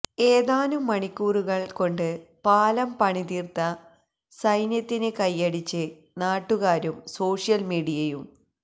ഏതാനും മണിക്കൂറുകള് കൊണ്ട് പാലം പണി തീര്ത്ത സൈന്യത്തിന് കയ്യടിച്ച് നാട്ടുകാരും സോഷ്യല്മീഡിയയും